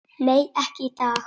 Nei, ekki í dag.